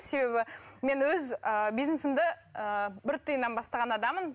себебі мен өз ііі бизнесімді ііі бір тиыннан бастаған адаммын